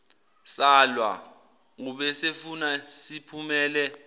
salwa ubesefuna siphumele